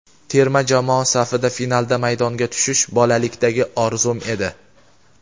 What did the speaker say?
Terma jamoa safida finalda maydonga tushish bolalikdagi orzum edi.